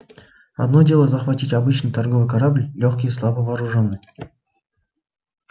одно дело захватить обычный торговый корабль лёгкий и слабо вооружённый